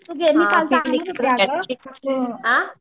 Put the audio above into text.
तू गेलीस